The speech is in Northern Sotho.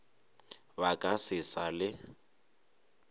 ba ka se sa le